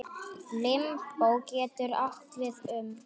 Limbó getur átt við um